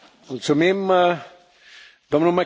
Herr Präsident, meine sehr geehrten Damen und Herren!